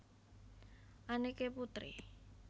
Anneke Putri